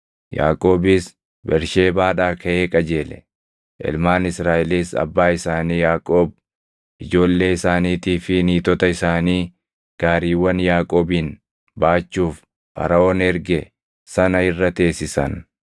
Yaaqoobis Bersheebaadhaa kaʼee qajeele; ilmaan Israaʼelis abbaa isaanii Yaaqoob, ijoollee isaaniitii fi niitota isaanii gaariiwwan Yaaqoobin baachuuf Faraʼoon erge sana irra teessisan.